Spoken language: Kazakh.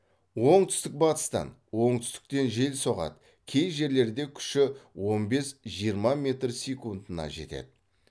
оңтүстік батыстан оңтүстіктен жел соғады кей жерлерде күші он бес жиырма метр секундына жетеді